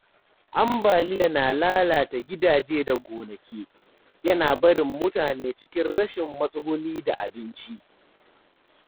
Ambaliya na lalata gidaje da gonaki, yana barin mutane cikin rashin matsuguni da abinci.